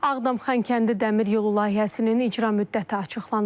Ağdam Xankəndi dəmir yolu layihəsinin icra müddəti açıqlanıb.